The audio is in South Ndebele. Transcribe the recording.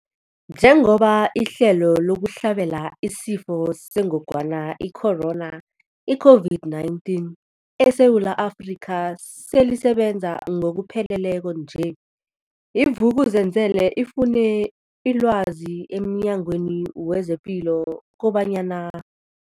Njengoba ihlelo lokuhlabela isiFo sengogwana i-Corona, i-COVID-19, eSewula Afrika selisebenza ngokupheleleko nje, i-Vuk'uzenzele ifune ilwazi emNyangweni wezePilo kobanyana.